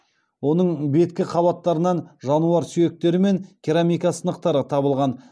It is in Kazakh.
оның беткі қабаттарынан жануар сүйектері мен керамика сынықтары табылған